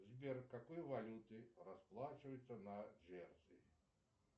сбер в какой валюте расплачиваются на джерси